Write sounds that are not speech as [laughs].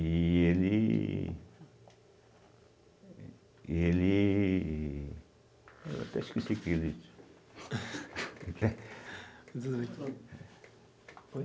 E ele eh Ele Eu até esqueci o que eu ia dizer [laughs] [unintelligible]